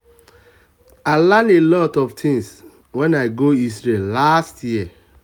i learn a lot of things wen i go isreal last year